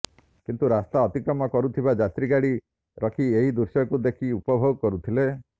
କିନ୍ତୁ ରାସ୍ତା ଅତିକ୍ରମ କରୁଥିବା ଯାତ୍ରୀ ଗାଡ଼ି ରଖି ଏହି ଦୃଶ୍ୟକୁ ଦେଖି ଉପଭୋଗ କରୁଥିଲେ